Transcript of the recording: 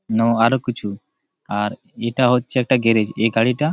নাও আরো কিছু আর এটা হচ্ছে একটা গ্যারেজ । এই গাড়িটা--